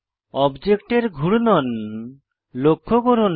অবজেক্টের ঘূর্ণন লক্ষ্য করুন